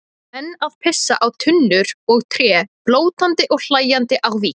Menn að pissa á tunnur og tré, blótandi og hlæjandi á víxl.